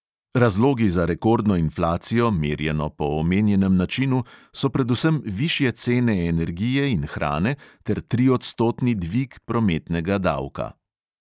Razlogi za rekordno inflacijo, merjeno po omenjenem načinu, so predvsem višje cene energije in hrane ter triodstotni dvig prometnega davka.